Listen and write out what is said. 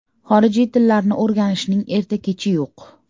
Xorijiy tillarni o‘rganishning erta-kechi yo‘q.